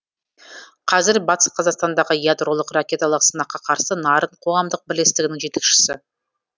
қазір батыс қазақстандағы ядролық ракеталық сынаққа қарсы нарын қоғамдық бірлестігінің жетекшісі